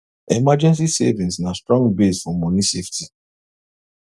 emergency savings na strong base for money safety